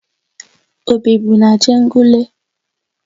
O bibu n'Ajegunle?